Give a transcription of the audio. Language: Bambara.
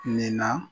Nin na